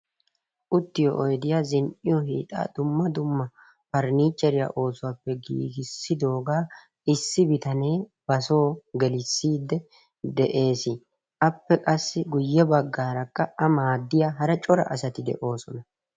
Uttiyo oydiya, zin"iyo hiixaa dumma dumma pariniichcheriya oosuwappe giigissidoogaa issi bitanee basoo gelissiidde de'ees. Appe guyye baggaarakka A maaddiya hara cora asati de'oosona.